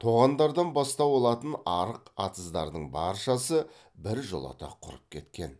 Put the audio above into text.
тоғандардан бастау алатын арық атыздардың баршасы біржолата құрып кеткен